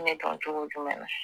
Ne dɔn cogo jumɛn na